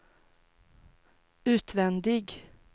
utvändig